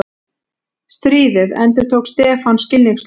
Stríðið? endurtók Stefán skilningssljór.